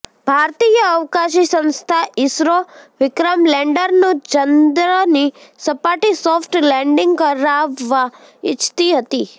ભારતીય અવકાશી સંસ્થા ઈસરો વિક્રમ લેન્ડરનું ચંદ્રની સપાટી સોફ્ટ લેન્ડિંગ કરાવવા ઈચ્છતી હતી